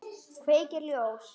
Kveikir ljós.